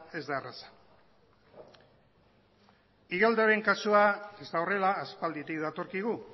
ez da erreza igeldoren kasua ez da horrela aspalditik datorkigu